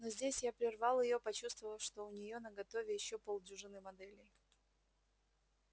но здесь я прервал её почувствовав что у неё наготове ещё полдюжины моделей